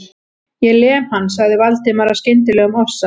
Ég lem hann.- sagði Valdimar af skyndilegum ofsa